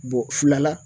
Bɔ fila la